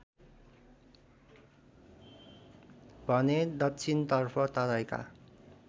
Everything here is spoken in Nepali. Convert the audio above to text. भने दक्षिणतर्फ तराईका